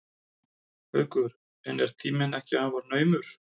Haukur: En er ekki tíminn afar naumur?